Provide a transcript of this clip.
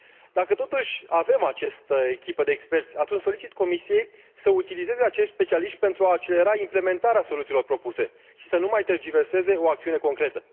Dacă totuși avem această echipă de experți, atunci solicit Comisiei să utilizez acești specialiști pentru a accelera implementarea soluțiilor propuse și să nu mai tergiverseze o acțiune concretă.